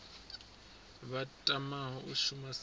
vha tamaho u shuma sa